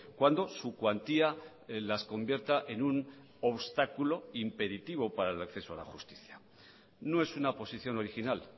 cuando su cuantía las convierta en un obstáculo impeditivo para el acceso a la justicia no es una posición original